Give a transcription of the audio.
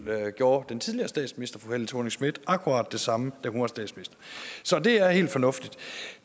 gjorde den tidligere statsminister fru helle thorning schmidt akkurat det samme da hun var statsminister så det er helt fornuftigt